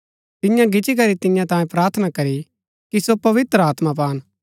तिन्ये गिच्ची करी तियां तांयें प्रार्थना करी कि सो पवित्र आत्मा पान